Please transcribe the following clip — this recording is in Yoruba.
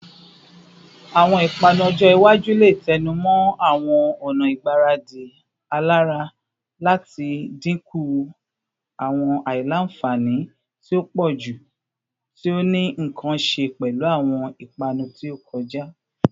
Awọn ipanu ojo iwaju le tẹnumọ awọn ọna igbaradi alara lati dinku awọn aila-nfani ti o pọju ti o ni nkan ṣe pẹlu awọn ipanu ti o kọja